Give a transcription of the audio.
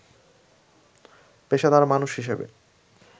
“পেশাদার মানুষ হিসেবে